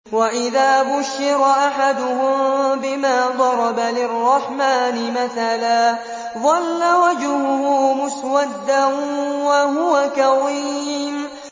وَإِذَا بُشِّرَ أَحَدُهُم بِمَا ضَرَبَ لِلرَّحْمَٰنِ مَثَلًا ظَلَّ وَجْهُهُ مُسْوَدًّا وَهُوَ كَظِيمٌ